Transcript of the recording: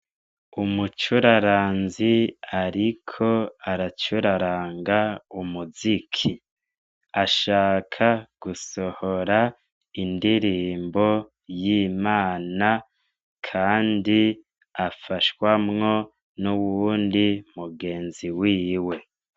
umucuraranzi ariko aracuraranga umuziki ashaka gusohora indirimbo y'imana kandi afashwamwo n'uwundi mugenzi wiwe